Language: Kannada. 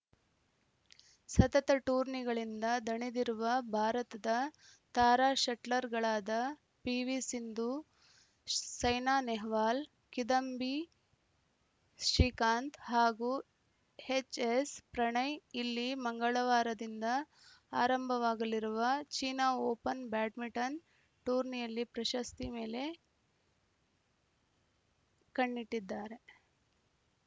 ಸತತ ಟೂರ್ನಿಗಳಿಂದ ದಣಿದಿರುವ ಭಾರತದ ತಾರಾ ಶಟ್ಲರ್‌ಗಳಾದ ಪಿವಿಸಿಂಧು ಸೈನಾ ನೆಹ್ವಾಲ್‌ ಕಿದಂಬಿ ಶ್ರೀಕಾಂತ್‌ ಹಾಗೂ ಎಚ್‌ಎಸ್‌ಪ್ರಣಯ್‌ ಇಲ್ಲಿ ಮಂಗಳವಾರದಿಂದ ಆರಂಭವಾಗಲಿರುವ ಚೀನಾ ಓಪನ್‌ ಬ್ಯಾಡ್ಮಿಂಟನ್‌ ಟೂರ್ನಿಯಲ್ಲಿ ಪ್ರಶಸ್ತಿ ಮೇಲೆ ಕಣ್ಣಿಟ್ಟಿದ್ದಾರೆ